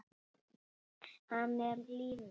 Hann er líf mitt.